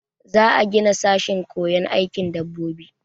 Za a gina sashen koyon aikin dabbobi.